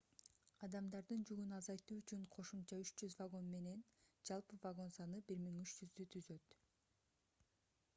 адамдардын жүгүн азайтуу үчүн кошумча 300 вагон менен жалпы вагон саны 1300 түзөт